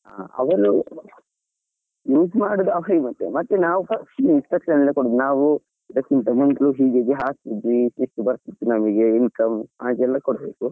ಆ ಅವರು ಅವ್ರಿಗೆ ನಾವು instruction ಎಲ್ಲಾ ಕೊಡೋದು, ನಾವು ಇದಕ್ಕಿಂತ ಮುಂಚೆ ಹೀಗೀಗೆ ಹಾಕಿದ್ವಿ ಇಷ್ಟಿಷ್ಟು ಬರ್ತಿತ್ತು income ಹಾಗೆಲ್ಲ ಕೊಡ್ಬೇಕು.